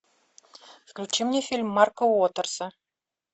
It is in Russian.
включи мне фильм марка уотерса